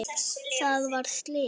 Það varð slys.